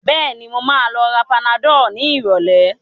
Bẹ́ẹ̀ni, mo ma lọ ra panadol ní ìrọ̀lẹ́